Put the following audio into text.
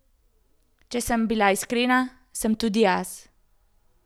Če sem bila iskrena, sem tudi jaz.